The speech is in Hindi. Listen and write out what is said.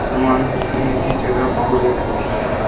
सामान रखने की जगह भूरे रंग की है।